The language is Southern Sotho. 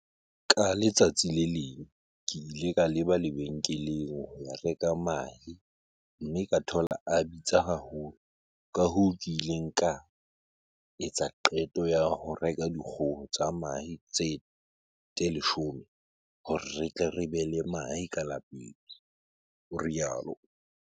"Ka letsatsi le leng ke ile ka leba lebenkeleng ho ya reka mahe mme ka thola a bitsa haholo, kahoo ke ile ka etsa qeto ya ho reka dikgoho tsa mahe tse 10 hore re tle re be le mahe ka lapeng," o rialo.